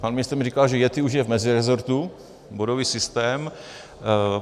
Pan ministr mi říkal, že yetti už je v meziresortu - bodový systém.